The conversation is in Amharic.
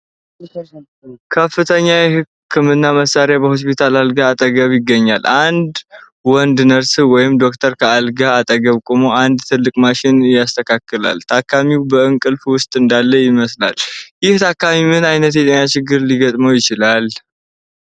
ከፍተኛ የሕክምና መሣሪያ በሆስፒታል አልጋ አጠገብ ይገኛል። አንድ ወንድ ነርስ ወይም ዶክተር ከአልጋው አጠገብ ቆሞ አንድ ትልቅ ማሽን ያስተካክላል። ታካሚው በእንቅልፍ ውስጥ እንዳለ ይመስላል። ይህ ታካሚ ምን ዓይነት የጤና ችግር ሊገጥመው ይችላል?